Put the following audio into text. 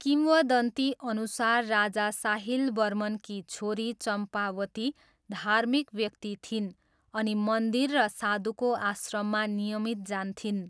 किंवदन्तीअनुसार राजा साहिल वर्मनकी छोरी चम्पावती धार्मिक व्यक्ति थिइन् अनि मन्दिर र साधुको आश्रममा नियमित जान्थिन्।